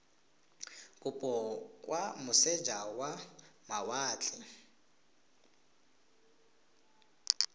kopo kwa moseja wa mawatle